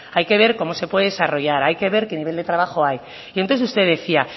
hay que ver cómo se puede desarrollar hay que ver qué nivel de trabajo hay y entonces usted decía